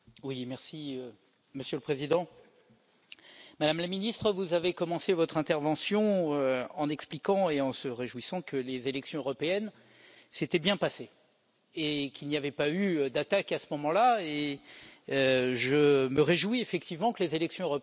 Monsieur le Président, Madame la Ministre, vous avez commencé votre intervention en expliquant et en vous réjouissant que les élections européennes s'étaient bien passées et qu'il n'y avait pas eu d'attaque à ce moment là et je me réjouis effectivement que les élections européennes se soient bien passées.